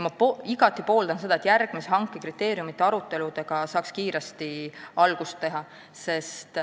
Ma igati pooldan seda, et järgmise hanke kriteeriumite aruteludega saaks kiiresti algust teha.